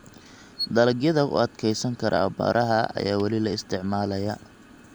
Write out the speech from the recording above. Dalagyada u adkeysan kara abaaraha ayaa weli la isticmaalayaa.